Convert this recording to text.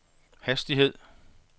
hastighed